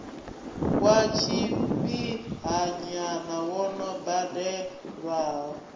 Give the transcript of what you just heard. wa tshifhinhanyana wo no badelwaho